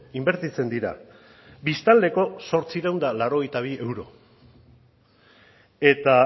inbertitzen dira biztanleko zortziehun eta laurogeita bi euro eta